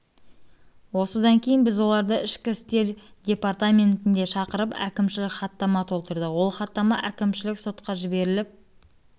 осыдан кейін біз оларды ішкі істер департаментіне шақыртып әкімшілік хаттама толтырдық ол хаттама әкімшілік сотқажіберіліп